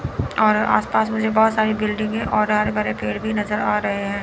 और आस पास मुझे बहोत सारी बिल्डिंगे और हरे भरे पेड़ भी नजर आ रहे है।